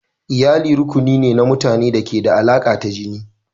Iyali rukuni ne na mutane da ke da alaƙa ta jini.